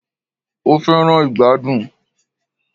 O fẹràn ìgbàdùn.